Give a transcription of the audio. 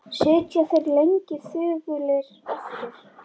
Sitja þeir lengi þögulir eftir.